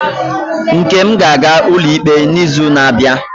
Nkem ga-aga ụlọikpe n'izu na-abịa?